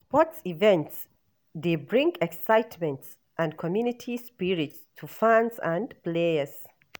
Sports events dey bring excitement and community spirit to fans and players.